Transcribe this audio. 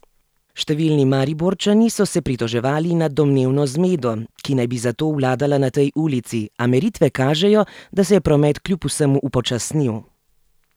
Številni Mariborčani so se pritoževali nad domnevno zmedo, ki naj bi zato vladala na tej ulici, a meritve kažejo, da se je promet kljub vsemu upočasnil.